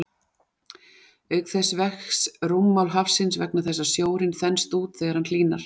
Auk þess vex rúmmál hafsins vegna þess að sjórinn þenst út þegar hann hlýnar.